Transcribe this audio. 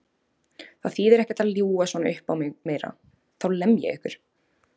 Það þýðir ekkert að ljúga svona uppá mig meira, þá lem ég ykkur!